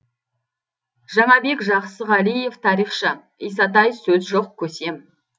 жаңабек жақсығалиев тарихшы исатай сөз жоқ көсем